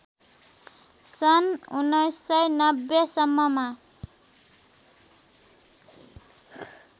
सन् १९९० सम्ममा